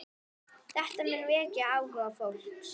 Þetta mun vekja áhuga fólks.